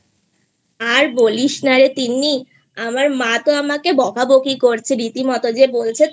আর বলিস না রে তিন্নি আমার মা তো আমাকে বকাবকি করছে রীতিমতো যে বলছে